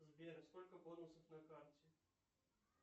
сбер сколько бонусов на карте